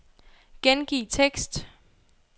Gengiv tekst.